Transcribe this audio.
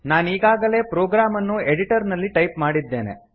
ನಾನೀಗಾಗಲೇ program ಅನ್ನು editor ನಲ್ಲಿ type ಮಾಡಿದ್ದೇನೆ